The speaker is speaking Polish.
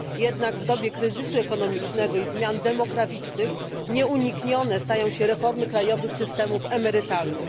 Jednak w dobie kryzysu ekonomicznego i zmian demograficznych nieuniknione stają się reformy krajowych systemów emerytalnych.